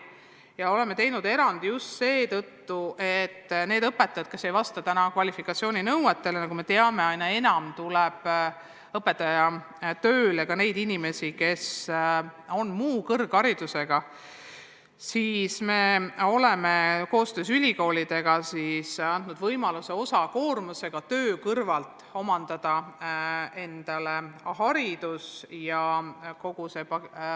Ja oleme teinud erandi just seetõttu, et need õpetajad, kes ei vasta täna kvalifikatsiooninõuetele – nagu me teame, aina enam tuleb õpetajaks tööle inimesi, kes on muu kõrgharidusega –, saaksid tänu meie koostööle ülikoolidega võimaluse osakoormusega töö kõrvalt vajalik haridus omandada.